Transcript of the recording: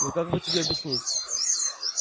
ну как бы тебе объяснить